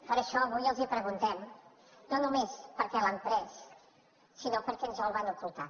per això avui els preguntem no només per què l’han pres sinó per què ens el van ocultar